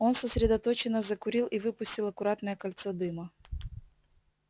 он сосредоточенно закурил и выпустил аккуратное кольцо дыма